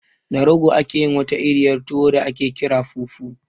Da rogo ake yin wata iriyar tuwo da aƙe ƙira fufu